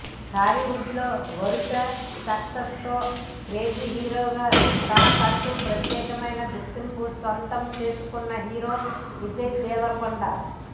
టాలీవుడ్ లో వరుస సక్సెస్ లతో క్రేజీ హీరోగా తనకంటూ ప్రత్యేకమైన గుర్తింపు సొంతం చేసుకున్న హీరో విజయ్ దేవరకొండ